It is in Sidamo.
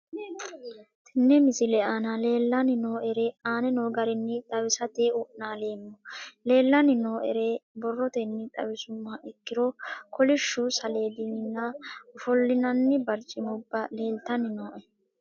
Tene misile aana leelanni nooerre aane noo garinni xawisate wonaaleemmo. Leelanni nooerre borrotenni xawisummoha ikkiro kollishshu saaledinna ofoolinanni bariccimubba leelitanni nooe.